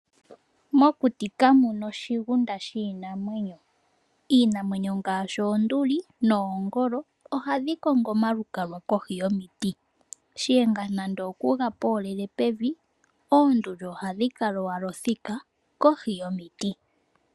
Mokuti kamuna oshigunda shiinamwenyo. Iinamwenyo ngaashi oonduli noongolo ohadhi kongo omalukalwa kohi yomiti. shiyenga nande okuga poolele pevi oonduli ohadhi kala owala othika kohi yomiti.